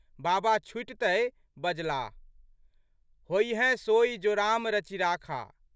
बाबा छुटितहि बजलाह, होइयहिं सोइ जो राम रचि राखा।